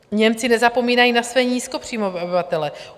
Němci nezapomínají na své nízkopříjmové obyvatele.